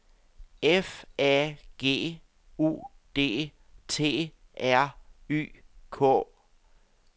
F A G U D T R Y K